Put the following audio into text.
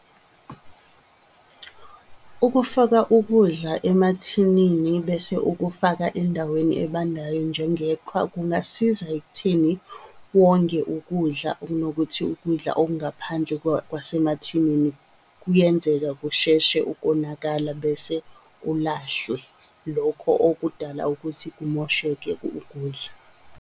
Ukufaka ukudla emathinini bese ukufaka endaweni ebandayo njengeqhwa kungasiza ekutheni wonge ukudla okunokuthi ukudla okungaphandle kwasemathinini kuyenzeka kusheshe ukonakala, bese kulahlwe. Lokho okudala ukuthi kumosheke ukudla.